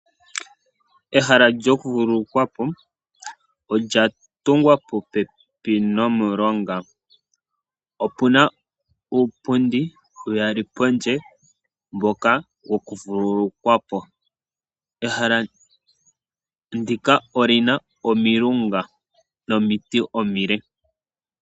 Ehala lyakuvululukwa po olya tungwa popepi nomulonga. Opu na uupundi uuyali pondje mboka wo ku vululukwa po. Ehala ndika oli na omilunga nomiti omile.